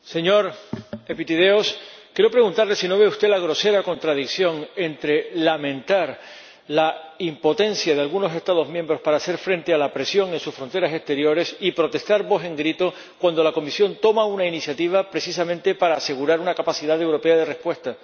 Señor Epitideios, quiero preguntarle si no ve usted la grosera contradicción entre lamentar la impotencia de algunos Estados miembros para hacer frente a la presión en sus fronteras exteriores y protestar, a voz en grito, cuando la Comisión toma una iniciativa precisamente para asegurar una capacidad europea de respuesta.